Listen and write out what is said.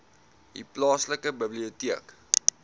u plaaslike biblioteek